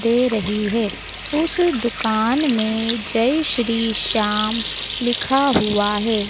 दे रही है उस दुकान में जय श्री श्याम लिखा हुआ है।